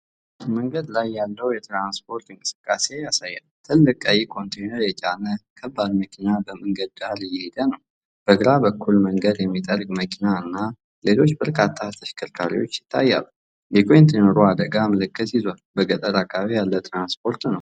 መንገድ ላይ ያለውን የትራንስፖርት እንቅስቃሴ ያሳያል። ትልቅ ቀይ ኮንቴነር የጫነ ከባድ መኪና በመንገዱ ዳር እየሄደ ነው። በግራ በኩል መንገድ የሚጠርግ መኪና እና ሌሎች በርካታ ተሽከርካሪዎች ይታያሉ። የኮንቴነሩ አደጋ ምልክት ይዟል። በገጠር አካባቢ ያለ ትራንስፖርት ነው።